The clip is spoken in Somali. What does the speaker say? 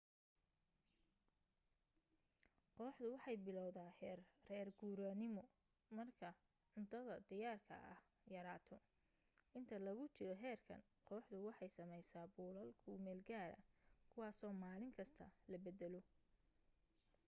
kooxdu waxay biloowdaa heer reer guuraanimo marka cuntada diyaarka ah yaraato inta lagu jiro heerkan kooxdu waxay sameysaa buulal ku meelgaara kuwaaso maalin kasta la beddelo